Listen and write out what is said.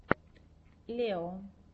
лео